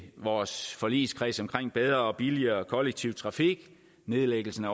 vores forligskreds omkring bedre og billigere kollektiv trafik nedlæggelsen